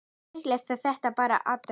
Líklega er þetta bara árdegis